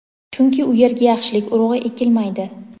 chunki u yerga yaxshilik urug‘i ekilmaydi.